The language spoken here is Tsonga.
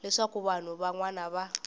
leswaku vanhu van wana va